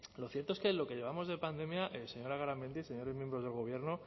lo cierto es que en lo que llevamos de pandemia señora garamendi señores miembros del gobierno